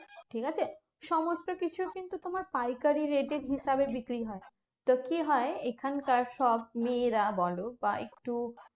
ঠিকাছে? সমস্তকিছু কিন্তু তোমার পাইকারি rate এর হিসাবে বিক্রি হয়। তো কি হয়? এখানকার সব মেয়েরা বলো বা একটু